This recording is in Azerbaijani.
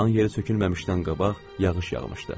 Dan yeri sökülməmişdən qabaq yağış yağmışdı.